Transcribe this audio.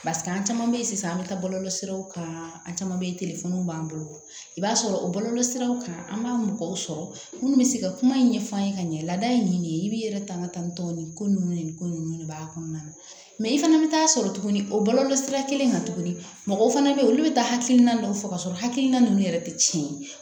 Paseke an caman bɛ yen sisan an bɛ taa bɔlɔlɔsiraw kan an caman bɛ yen b'an bolo i b'a sɔrɔ bɔlɔlɔ siraw kan an b'a mɔgɔw sɔrɔ minnu bɛ se ka kuma in ɲɛfɔ an ye ka ɲɛ lada in ɲini i b'i yɛrɛ tanga tan tɔ nin ko ninnu ni ko nunnu de b'a kɔnɔna na i fana bɛ taa sɔrɔ tuguni o bɔlɔlɔsira kelen kan tuguni mɔgɔw fana bɛ yen olu bɛ taa hakilina ninnu fɔ ka sɔrɔ hakilina ninnu yɛrɛ tɛ tiɲɛ ye